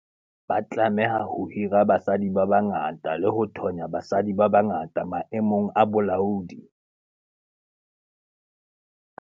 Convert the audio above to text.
Ba tlameha ho hira basadi ba bangata le ho thonya basadi ba bangata maemong a bolaodi.